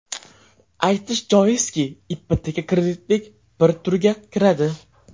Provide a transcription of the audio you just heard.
Aytish joizki, ipoteka kreditning bir turiga kiradi.